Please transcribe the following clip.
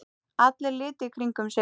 Allir litu í kringum sig.